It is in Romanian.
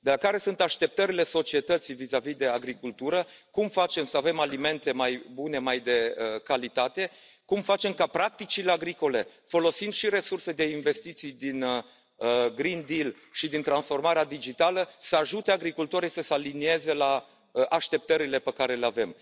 De la așteptările societății vizavi de agricultură, de la cum facem să avem alimente mai bune, mai de calitate, cum facem ca practicile agricole, folosind și resurse de investiții din Green Deal și din transformarea digitală, să ajute agricultorii să se alinieze la așteptările pe care le avem.